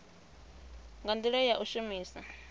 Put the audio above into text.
nga ndila ya u shumisa